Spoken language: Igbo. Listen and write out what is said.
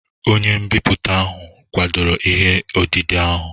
Onye mbipụta ahụ kwadoro ihe odide ahụ?